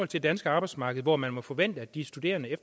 det danske arbejdsmarked hvor man må forvente at de studerende